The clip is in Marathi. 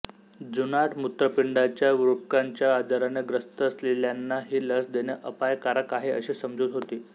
जुनाट मूत्रपिंडाच्या वृक्काच्या आजाराने ग्रस्त असलेल्याना ही लस देणे अपायकारक आहे अशी समजूत होती